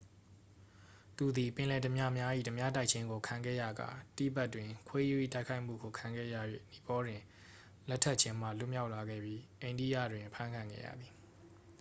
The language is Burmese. သူသည် ပင်လယ်ဓားပြများ၏ ဓားပြတိုက်ခြင်းကို ခံခဲ့ရကာ တိဘက်တွင် ခွေးရူး၏တိုက်ခိုက်မှုကို ခံခဲ့ရ၍ နီပေါတွင် လက်ထပ်ရခြင်းမှ လွတ်မြောက်လာခဲ့ပြီး အိန္ဒိယတွင် အဖမ်းခံခဲ့ရသည်